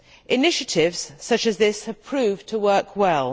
Initiatives such as this have proved to work well.